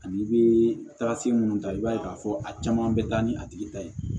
Ani i bɛ taga se minnu ta i b'a ye k'a fɔ a caman bɛ taa ni a tigi ta ye